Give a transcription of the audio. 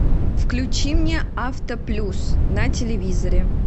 включи мне авто плюс на телевизоре